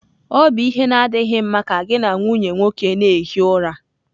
Ọ bụ ihe na-adịghị mma ka gị na nwunye nwoke na-ehi ụra